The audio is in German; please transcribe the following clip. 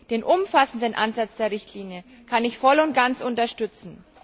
Den umfassenden Ansatz der Richtlinie kann ich voll und ganz unterstützen.